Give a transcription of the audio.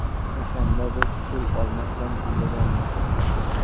O‘shanda biz pul olmasdan kuylaganmiz.